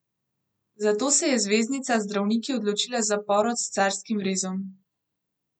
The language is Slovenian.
Zato se je zvezdnica z zdravniki odločila za porod s carskim rezom.